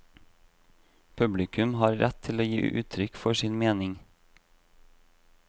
Publikum har rett til å gi uttrykk for sin mening.